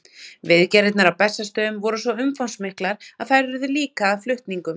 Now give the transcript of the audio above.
Viðgerðirnar á Bessastöðum voru svo umfangsmiklar að þær urðu líka að flutningum.